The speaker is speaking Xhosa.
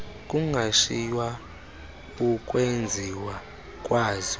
kungashiywa ukwenziwa kwazo